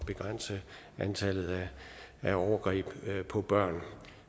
begrænse antallet af overgreb på børn